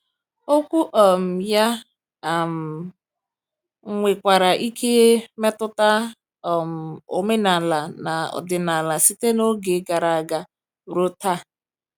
Okwu um ya um nwekwara ike metụta um omenala na ọdịnala site n’oge gara aga ruo taa.